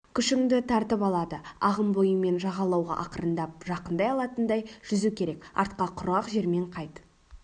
күшіңді тартып алады ағым бойымен жағалауға ақырындап жақындай алатындай жүзу керек артқа құрғақ жермен қайт